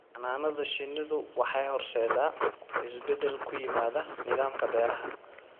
Xannaanada shinnidu waxay horseedaa isbeddel ku yimaada nidaamka beeraha.